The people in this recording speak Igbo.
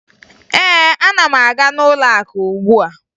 Ee, ana m aga n'ụlọakụ ugbua